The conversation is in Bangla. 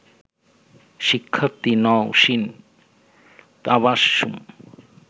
শিক্ষার্থী নওশীন তাবাসসুম